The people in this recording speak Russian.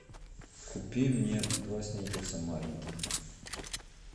купи мне два сникерса маленьких